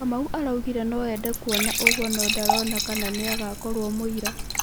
Kamau araigire no ende kuona ũgũo no ndarona kana nĩagakoro mũira.